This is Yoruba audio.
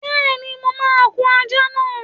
Bẹ́ẹ̀ni, mo máa kun àjà náà.